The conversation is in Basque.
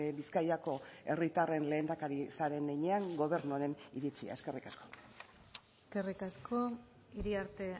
bizkaiko herritarren lehendakari zaren heinean gobernu honen iritzia eskerrik asko eskerrik asko iriarte